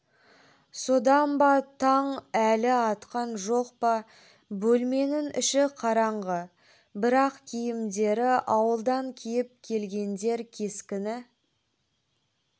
содан ба таң әлі атқан жоқ па бөлменің іші қараңғы бірақ киімдері ауылдан киіп келгендер кескіні